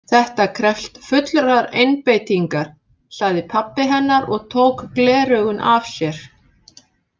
Þetta krefst fullrar einbeitingar, sagði pabbi hennar og tók gleraugun af sér.